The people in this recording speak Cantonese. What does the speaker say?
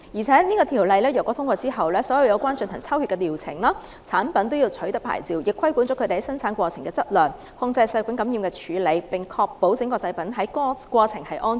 再者，《條例草案》獲通過後，所有涉及抽血的療程、產品均要取得牌照，亦規管生產過程的質量、控制細菌感染的處理，並確保整個製造過程是安全的。